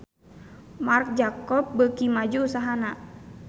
Marc Jacob beuki maju usahana